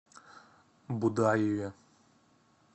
будаеве